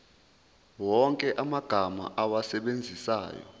wonke amagama owasebenzisayo